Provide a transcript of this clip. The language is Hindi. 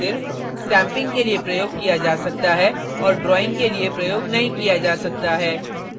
इन ब्रशों को सिर्फ stamping के लिए प्रयोग किया जा सकता है और drawing के लिए प्रयोग नहीं किया जा सकता है